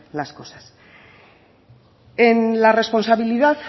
las cosas en la responsabilidad